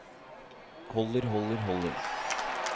holder holder holder